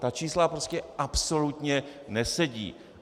Ta čísla prostě absolutně nesedí.